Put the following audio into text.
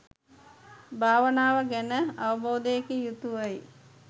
භාවනාව ගැන අවබෝධයකින් යුතුව යි